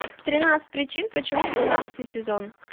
тринадцать причин почему пятнадцатый сезон